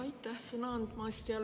Aitäh sõna andmast!